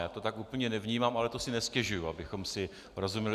Já to tak úplně nevnímám, ale to si nestěžuji, abychom si rozuměli.